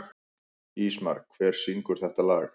Ísmar, hver syngur þetta lag?